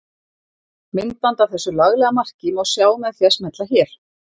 Myndband af þessu laglega marki má sjá með því að smella hér.